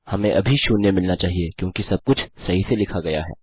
हमें अभी शून्य मिलना चाहिए क्योंकि सबकुछ सही से लिखा गया है